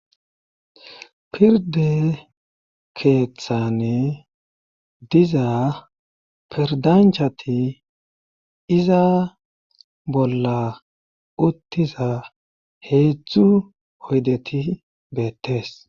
Pirde keeththane diza perdanchati iza bolla uttiza heedzdzu oydeti beettes